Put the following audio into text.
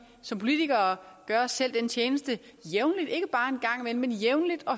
som politikere gøre os selv den tjeneste jævnligt og